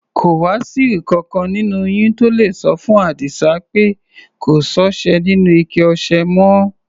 Kò wá sí ìkankan nínú yín tó le sọ fún Àdísá pé kò sọ́ṣẹ nínú ike ọṣẹ mọ́?